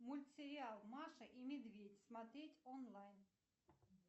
мультсериал маша и медведь смотреть онлайн